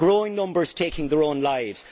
growing numbers taking their own lives